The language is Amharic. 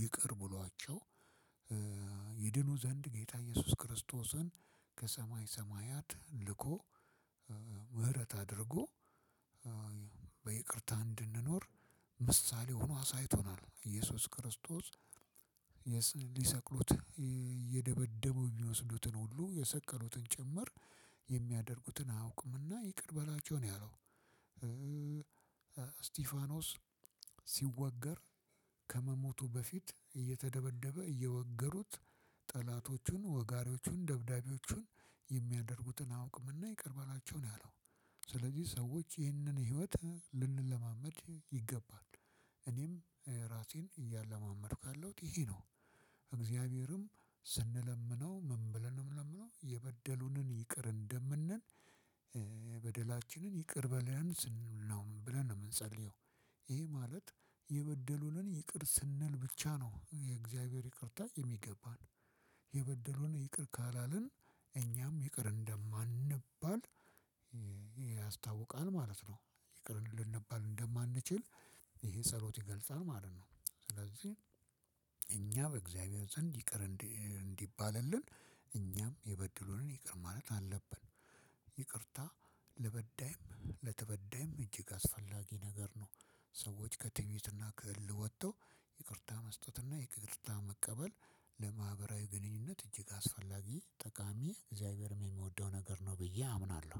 ይቅር ብሏቸው ይድኑ ዘንድ ጌታ ኢየሱስ ክርስቶስን ከሰማይ ሰማያት ልኮ ምህረት አድርጎ በይቅርታ እንድንኖር ምሳሌ ሆኖ አሳይቶናል ኢየሱስ ክርስቶስ ሊሰቅሉት እየደበደቡ ሚወስዱትን ሁሉ የሰቀሉትን ጭምር የሚያደርጉትን አውቅምና ይቅር በላቸው ነው ያለው። ስቲፋኖስ ሲወገር ከመሞቱ በፊት እየተደበደበ እየወገሩት ጠላቶቹን ወጋሪዎቹን ደብዳቢዎቹን የሚያደርጉትን አያውቁምና ይቀርበላቸው ነው ያለው። ስለዚህ ሰዎች ይህንን ህይወት ልንለማመድ ይገባል። እኔም ራሴን እያለማመድኩ ያለሁት ይሄ ነው። እግዚአብሔርም ስንለምነው ምን ብለን ነው የምንለምነው የበደሉንን ይቅር እንደምንል። በደላችንን ይቅር በለን ስንል ነው ብለን ነው የምንጸልየው። ይሄ ማለት የበደሉንን ይቅር ስንል ብቻ ነው የእግዚአብሔር ይቅርታ የሚገባን። የበደሉን ይቅር ካላልን እኛም ይቅር እንደማንባል ያስታውቃል ማለት ነው። ይቅርን ልንባል እንደማንችል ይሄ ጸሎት ይገልጻል ማለት ነው። ስለዚህ እኛ በእግዚአብሔር ዘንድ ይቅር እንዲባልልን እኛም የበደሉንን ይቅር ማለት አለብን። ይቅርታ ለበዳይም ለተበዳይም እጅግ አስፈላጊ ነገር ነው። ሰዎች ከትዕቢትና ከእልህ ወጥቶ ይቅርታ መስጠትና ይቅርታ መቀበል ለማህበራዊ ግንኙነት እጅግ አስፈላጊ ጠቃሚ እግዚአብሔርም የሚወደው ነገር ነው ብዬ አምናለሁ።